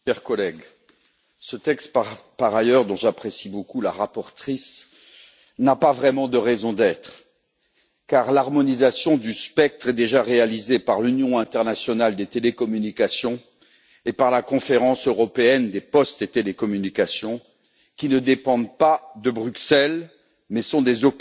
Madame la Présidente, chers collègues, ce texte dont par ailleurs j'apprécie beaucoup la rapporteure n'a pas vraiment de raison d'être, car l'harmonisation du spectre est déjà réalisée par l'Union internationale des télécommunications et par la conférence européenne des postes et télécommunications, qui ne dépendent pas de Bruxelles, mais sont des